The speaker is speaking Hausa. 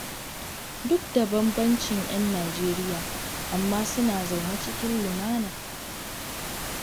Duk da bambancin 'yan Nijeriya, amma suna zaune cikin lumana.